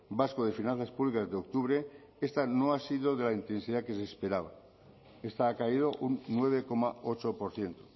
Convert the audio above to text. vasco de finanzas públicas de octubre esta no ha sido de la intensidad que se esperaba esta ha caído un nueve coma ocho por ciento